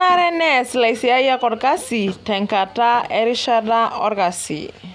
Kenaree neas laisiyiak olkasi tenkata erishata olkasi.